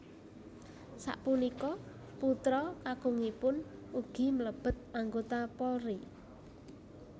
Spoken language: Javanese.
Sapunika putra kakungipun ugi mlebet anggota Polri